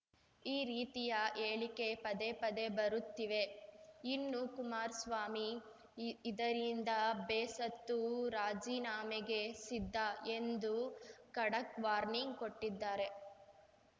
ಈ ರೀತಿಯ ಹೇಳಿಕೆ ಪದೇ ಪದೇ ಬರುತ್ತಿವೆ ಇನ್ನು ಕುಮಾರ್ ಸ್ವಾಮಿ ಇದರಿಂದ ಬೇಸತ್ತು ರಾಜೀನಾಮೆಗೆ ಸಿದ್ಧ ಎಂದು ಖಡಕ್‌ ವಾರ್ನಿಂಗ್‌ ಕೊಟ್ಟಿದ್ದಾರೆ